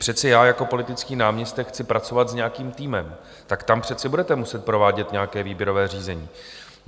Přece já jako politický náměstek chci pracovat s nějakým týmem, tak tam přece budete muset provádět nějaké výběrové řízení.